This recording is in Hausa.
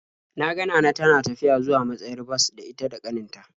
Na ga Nana tana tafiya zuwa matsayar bas da ita da ƙanin ta.